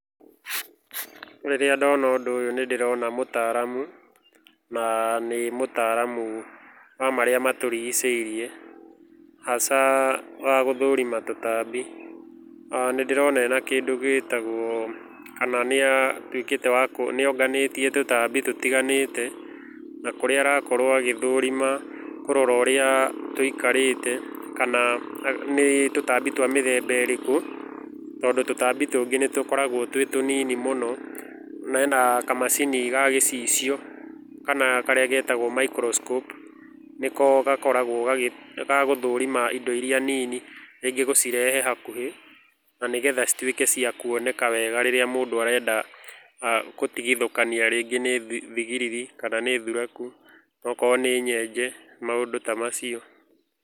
Rĩrĩa ndona ũndũ ũyũ nĩndĩrona mũtaramu na nĩ mũtaramu wa marĩa matũrigicĩirie, hasa wa gũthũrima tũtambi. Nĩndĩrona nĩonganĩtie tũtambi tũtiganĩte na kũrĩa arakorwo agĩthũrima kũrora ũrĩa tũikarĩte kana ni tũtambi twa mĩthemba ĩrĩkũ tondũ tũtambi tũngĩ nĩtũkoragwo tũnini mũno. Na ena kamacini ga gĩcicio kana karĩa getagwo microscope nĩko gakoragwo gagũthũrima indo iria nini rĩngĩ gũcirehe hakuhĩ na nĩgetha cituĩke cia kuoneka wega rĩria mũndũ arenda gũtigithũkania rĩngĩ nĩ thigiriri kana nĩ thuraku okorwo nĩ nyenje maũndũ ta macio.